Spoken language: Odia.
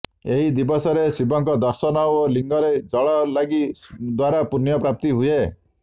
ଏହି ଦିବସରେ ଶିବଙ୍କ ଦର୍ଶନ ଓ ଲିଙ୍ଗରେ ଜଳ ଲାଗି ଦ୍ୱାରା ପୁଣ୍ୟ ପ୍ରାପ୍ତି ହୁଏ